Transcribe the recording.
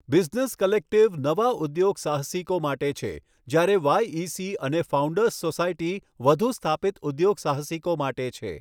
Business collective નવા ઉદ્યોગસાહસિકો માટે છે જ્યારે વાઈઇસી અને ફાઉન્ડર્સ સોસાયટી વધુ સ્થાપિત ઉદ્યોગસાહસિકો માટે છે.